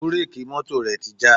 Búréèkì mọ́tò rẹ̀ ti já.